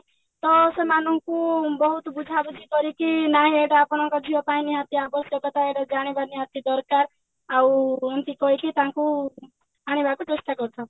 ତ ସେମାନଙ୍କୁ ବହୁତ ବୁଝାବୁଝି କରିକି ନାଇଁ ଏଇଟା ଆପଣଙ୍କ ଝିଅ ପାଇଁ ନିହାତି ଆବଶ୍ୟକ ଏଇଟା ଜାଣିବା ନିହାତି ଦରକାର ଆଉ କହିକି ତାଙ୍କୁ ଆଣିବାକୁ ଚେଷ୍ଟା କରିଥାଉ